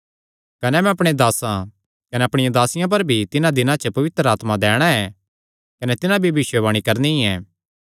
कने मैं अपणे दासां कने अपणियां दासियां पर भी तिन्हां दिनां च अपणा पवित्र आत्मा दैणा ऐ कने तिन्हां भी भविष्यवाणी करणी ऐ